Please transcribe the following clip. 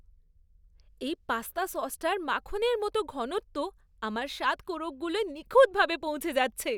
এই পাস্তা সসটার মাখনের মতো ঘনত্ব আমার স্বাদ কোরকগুলোয় নিখুঁতভাবে পৌঁছে যাচ্ছে!